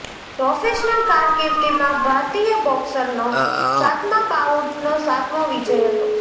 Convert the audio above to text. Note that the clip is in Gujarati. પ્રોફેશનલ કારકિર્દીમાં ભારતીય બોક્સરનો સાતમા બાઉટનો સાતમો વિજય હતો